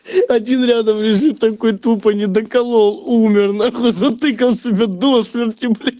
один рядом лежит такой тупо не доколол умер нахуй затыкал себя до смерти блять